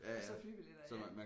Og så flybilletter ja